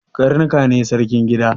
Karnuka ne sarkin gida